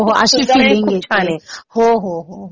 हो हो. अशी फिलिंग येते. हो हो.